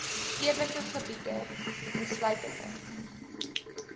stedelike gebiede insluitende